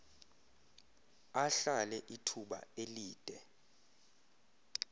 ahlale ithuba elide